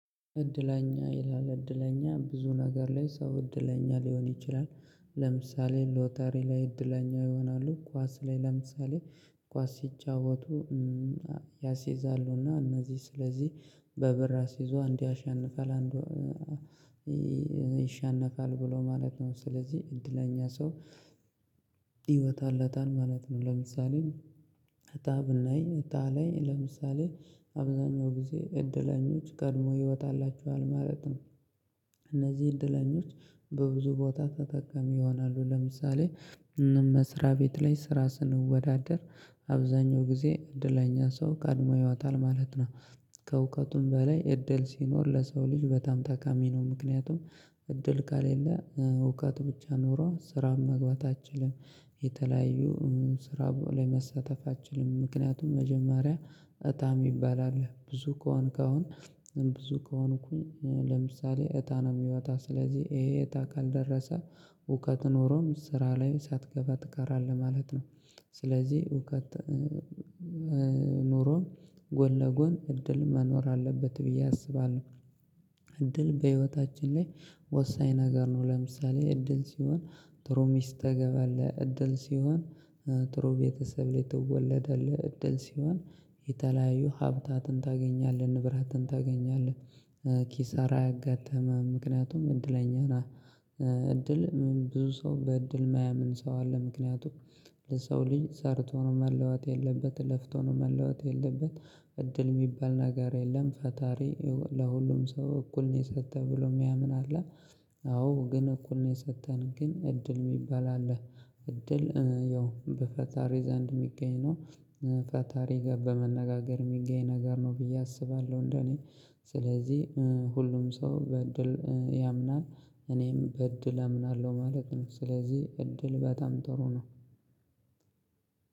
እድለኛ ይላል እድለኛ ብዙ ነገር ላይ ሰው እድለኛ ሊሆን ይችላል። ለምሳሌ ሎቶሪ ላይ እድለኛ ይሆናሉ ኳስ ላይ ለምሳሌ ኳስ ሲጫወቱ። ያስይዛሉና እነዚህ ስለዚህ በብር አስይዘው እንዱ ያሸንፋል አንዱ ይሸነፋል ብሎ ማለት ነው። ስለዚህ እድለኛ ሰው ይወጣለታል ማለት ነው ለምሳሌ። እጣ ብናይ እጣ ላይ ለምሳሌ አብዛኛው ጊዜ እድለኞች ቀድሞ ይወጣላቸዋል ማለት ነው። እነዚህ እድለኞች በብዙ ቦታ ተጠቃሚ ይሆናሉ። ለምሳሌ መስሪያ ቤት ላይ ስራ ስንወዳደር አብዛኛው ጊዜ እድለኛ ሰው ቀድሞ ይወጣል ማለት ነው። ከእውቀቱም በላይ እድል ሲኖር ለሰው ልጅ በጣም ጠቃሚ ነው። ምክንያቱም እድል ከሌለህ እውቀት ብቻ ኖሮህ ስራ መግባት አትችልም። የተለያዩ ስራ ላይ መሳተፍ አትችልም። ምክንያቱም መጀመሪያ እጣ የሚባል አለ ብዙ ከሆንክ አሁን ብዙ ከሆንኩኝ ለምሳሌ እጣ ነው የሚወጣ ስለዚህ ይሄ እጠ ካልደረሰህ እውቀት ኖሮም ስራ ላይ ሳትገባ ትቀራለህ ማለት ነው። ስለዚህ እዉቀት ኑሮም ጎን ለጎን እድል መኖር አለበት ብዬ አስባለሁ። እድል በህይወታችን ላይ ወሳኝ ነገር ነው። ለምሳሌ እድል ሲሆን ጥሩ ሚስት ታገባለህ እድል ሲሆን ጥሩ ቤተሰብ ላይ ትወለዳለህ እድል ሲሆን የተለያዩ ሀብታትን ታገኛለህ ንብራትን ታገኛለህ። ኪሳራ አያጋጥምህም ምክንያቱም እድለኛ ነህ። እድል ብዙ ሰው በእድል የማያምን ሰው አለ። ምክንያቱም የሰው ልጅ ሰርቶ ነው መለወጥ ያለበት ለፍቶ ነው መለወጥ ያለበት እድል የሚባል ነገር የለም ፈጣሪ ለሁሉም ሰው እኩል ነው የሰጠ ብሎ የሚያምን አለ። አዎ ግን እኩል ነው የሰጠን ግን እድል የሚባል አለ እድል ያው በፈጣሪ ዘንድ የሚገኝ ነው። ፈጣሪ ጋር በመነጋገር የሚገኝ ነገር ነው ብዬ አስባለሁ እንደኔ። ስለዚህ ሁሉም ሰው በእድል ያምናል እኔም በእድል አምናለሁ ማለት ነው። ስለዚህ እድል በጣም ጥሩ ነው።